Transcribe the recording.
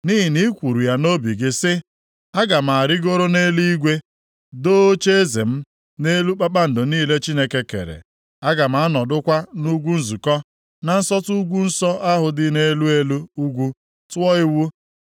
Nʼihi na i kwuru ya nʼobi gị sị, “Aga m arịgoro nʼeluigwe, doo ocheeze m nʼelu kpakpando niile Chineke kere; aga m anọdụkwa nʼugwu nzukọ, na nsọtụ ugwu nsọ ahụ dị nʼelu elu ugwu, tụọ iwu.